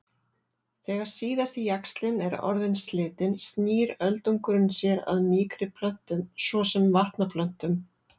Þegar síðasti jaxlinn er orðinn slitinn snýr öldungurinn sér að mýkri plöntum svo sem vatnaplöntum.